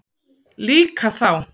Líka þá.